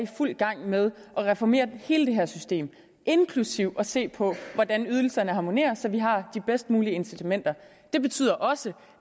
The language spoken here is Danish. i fuld gang med at reformere hele det her system inklusive at se på hvordan ydelserne harmonerer så vi har de bedst mulige incitamenter det betyder også